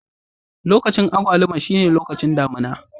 Lokacin agwaluma shine lokacin damina.